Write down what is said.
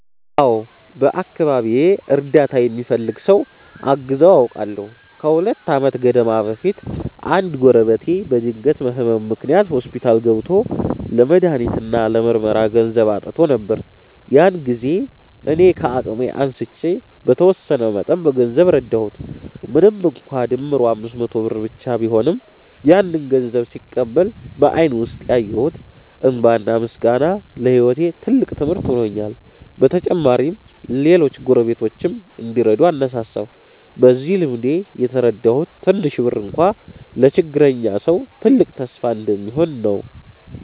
አዎ፣ በአካባቢዬ እርዳታ የሚፈልግ ሰው አግዘው አውቃለሁ። ከሁለት ዓመት ገደማ በፊት አንድ ጎረቤቴ በድንገት ህመም ምክንያት ሆስፒታል ገብቶ ለመድሃኒት እና ለምርመራ ገንዘብ አጥቶ ነበር። ያን ጊዜ እኔ ከአቅሜ አንስቼ በተወሰነ መጠን በገንዘብ ረዳሁት። ምንም እንኳን ድምሩ 500 ብር ብቻ ቢሆንም፣ ያንን ገንዘብ ሲቀበል በአይኑ ውስጥ ያየሁት እንባና ምስጋና ለህይወቴ ትልቅ ትምህርት ሆኖልኛል። በተጨማሪም ሌሎች ጎረቤቶችም እንዲረዱ አነሳሳሁ። በዚህ ልምዴ የተረዳሁት ትንሽ ብር እንኳ ለችግረኛ ሰው ትልቅ ተስፋ እንደሚሆን ነው።